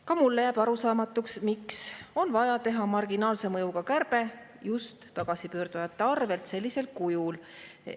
Ka mulle jääb arusaamatuks, miks on vaja teha marginaalse mõjuga kärbe just tagasipöördujate arvel sellisel kujul.